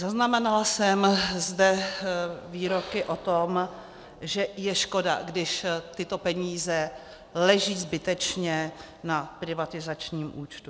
Zaznamenala jsem zde výroky o tom, že je škoda, když tyto peníze leží zbytečně na privatizačním účtu.